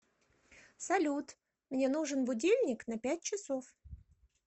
салют мне нужен будильник на пять часов